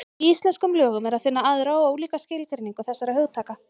Í íslenskum lögum er að finna aðra og ólíka skilgreiningu þessara hugtaka.